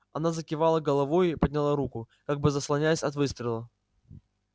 она закивала головою и подняла руку как бы заслоняясь от выстрела